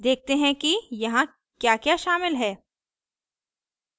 देखते हैं कि यहाँ क्याक्या शामिल है